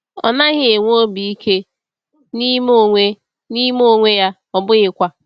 Ọ naghị enwe obi ike, na n’ime onwe n’ime onwe ya, ọ bụghịkwa.